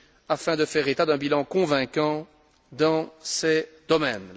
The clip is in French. afin de faire état d'un bilan convaincant dans ces domaines.